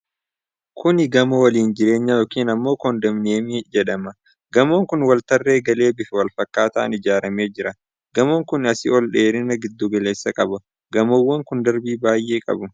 Kuni gamoo waliin jireenyaa yookiin ammoo kondominiyeemii hedhama. Gamoon kun waltarree galee bifa wal fakkaataan ijaaramee jira. Gamoon kun asii olee dheerina giddu galeessaa qaba. Gamoowwan kun darbii baay'ee qabu.